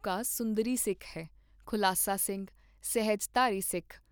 ਸੁੰਦਰੀ ਸਿੱਖ ਹੈ, ਖੁਲਾਸਾ ਸਿੰਘ, ਸਹਿਜਧਾਰੀ ਸਿੱਖ।